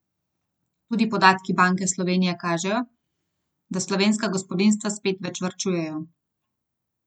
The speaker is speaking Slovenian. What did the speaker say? Tudi podatki Banke Slovenije kažejo, da slovenska gospodinjstva spet več varčujejo.